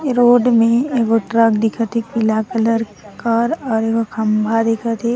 ये रोड में एगो ट्रक दिखथे पीला कलर कर और एगो खंभा दिखथे।